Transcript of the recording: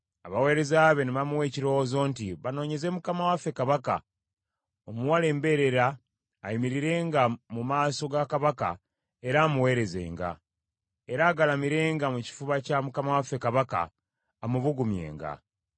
abaweereza be ne bamuwa ekirowoozo nti, “Banoonyeze mukama waffe kabaka, omuwala embeerera ayimirirenga mu maaso ga kabaka era amuweerezenga; era agalamirenga mu kifuba kya mukama waffe kabaka amubugumyenga.”